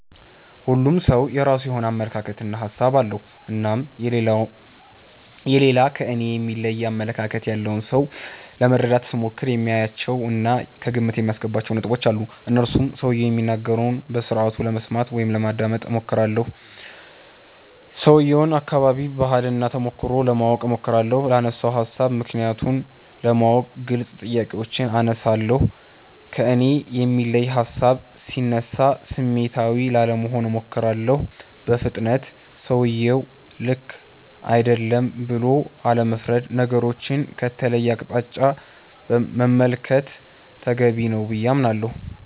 ሁሉም ሠው የራሱ የሆነ አመለካከት እና ሀሣብ አለው። እናም የሌላ ከኔ የሚለይ አመለካከት ያለውን ሠው ለመረዳት ስሞክር የማያቸው እና ከግምት የማስገባቸው ነጥቦች አሉኝ። እነርሱም ሠውየው የሚናገረውን በስርአቱ ለመስማት (ማዳመጥ ) እሞክራለሁ። የሠውየውን አከባቢ፣ ባህል እና ተሞክሮ ለማወቅ እሞክራለሁ። ላነሣው ሀሣብ ምክንያቱን ለማወቅ ግልጽ ጥያቄዎችን አነሣለሁ። ከእኔ የሚለይ ሀሣብ ሢነሣ ስሜታዊ ላለመሆን እሞክራለሁ። በፍጥነት ሠውየው ልክ አይደለም ብሎ አለመፍረድ። ነገሮቹን ከተለየ አቅጣጫ መመልከት ተገቢ ነው ብዬ አምናለሁ።